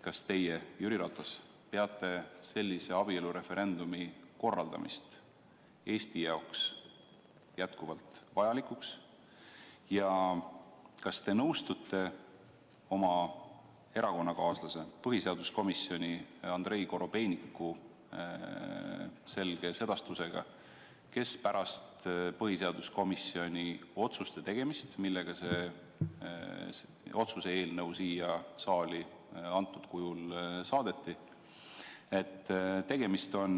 Kas teie, Jüri Ratas, peate selle abielureferendumi korraldamist Eesti jaoks jätkuvalt vajalikuks ja kas te nõustute oma erakonnakaaslase, põhiseaduskomisjoni liikme Andrei Korobeiniku selge sedastusega pärast põhiseaduskomisjoni otsust, millega see otsuse eelnõu siia saali praegusel kujul saadeti, et tegemist on